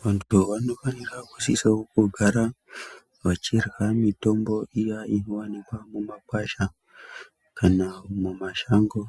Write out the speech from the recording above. Vantu vanofanira kusisawo kugara vachirya mitombo iya inowanikwe mumakwasha kana mumashango